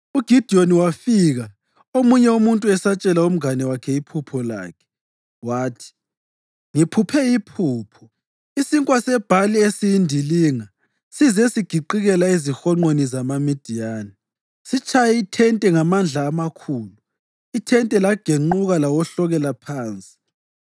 UGidiyoni wafika omunye umuntu esatshela umngane wakhe iphupho lakhe. Wathi, “Ngiphuphe iphupho. Isinkwa sebhali esiyindilinga size sigiqikela ezihonqweni zamaMidiyani. Sitshaye ithente ngamandla amakhulu ithente lagenquka lawohlokela phansi.”